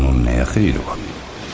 Bunun nəyə xeyri var?